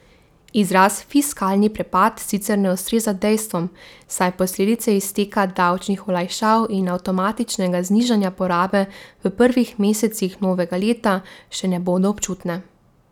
Izraz fiskalni prepad sicer ne ustreza dejstvom, saj posledice izteka davčnih olajšav in avtomatičnega znižanja porabe v prvih mesecih novega leta še ne bodo občutne.